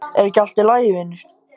Er ekki allt í lagi vinur?